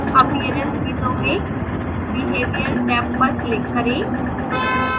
appearance window में behavior tab पर click करें